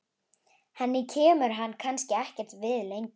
Henni kemur hann kannski ekkert við lengur.